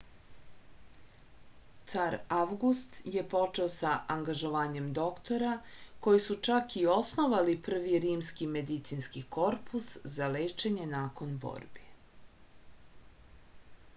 car avgust je počeo sa angažovanjem doktora koji su čak i osnovali prvi rimski medicinski korpus za lečenje nakon borbi